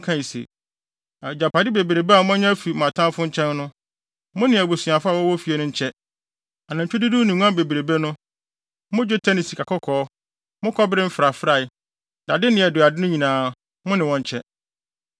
kae se, “Agyapade bebrebe a moanya afi mo atamfo nkyɛn no, mo ne mo abusuafo a wɔwɔ fie no nkyɛ. Anantwi dodow ne nguan bebrebe no, mo dwetɛ ne sikakɔkɔɔ, mo kɔbere mfrafrae, dade ne adurade no nyinaa, mo ne wɔn nkyɛ.”